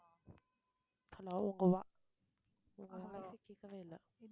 hello உங்க vo~voice கேக்கவே இல்ல